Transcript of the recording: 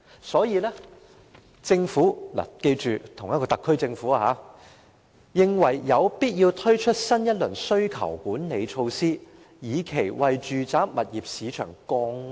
所以，政府——請記得這是同一個特區政府——認為有必要推出新一輪需求管理措施，以期為住宅物業市場降溫。